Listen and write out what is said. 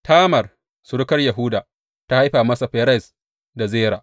Tamar, surukar Yahuda, ta haifa masa Ferez da Zera.